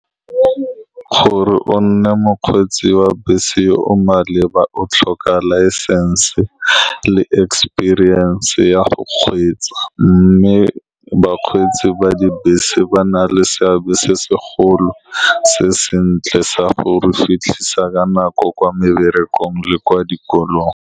Gore o nne mokgweetsi wa bese o o maleba. O tlhoka laesense le experience ya go kgweetsa, mme bakgweetsi ba dibese ba na le seabe se se golo se sentle sa go re fitlhisa ka nako kwa meberekong le kwa dikolong.